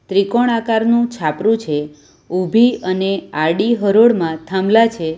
ત્રિકોણ આકારનું છાપરું છે ઉભી અને આડી હરોળમાં થાંભલા છે.